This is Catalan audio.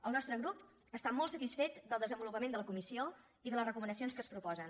el nostre grup està molt satisfet del desenvolupament de la comissió i de les recomanacions que es proposen